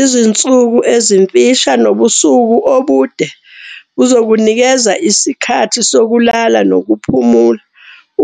Izinsuku ezimfusha nobusuku obude buzokunikeza isikhathi sokulala nokuphumula